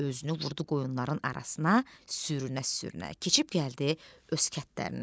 Özünü vurdu qoyunların arasına, sürünə-sürünə keçib gəldi öz kəndlərinə.